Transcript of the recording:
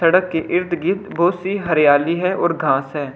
सड़क के इर्द-गिर्द बहुत सी हरियाली है और घास है।